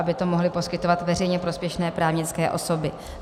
Aby to mohly poskytovat veřejně prospěšné právnické osoby.